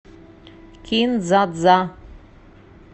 кин дза дза